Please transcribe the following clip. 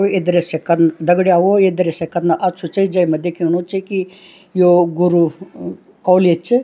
ये दृश्य कन दग्ड़ियाओं ये दृश्य कतना अछू च जैमा दिखेणु च कि यो गुरु कॉलेज च।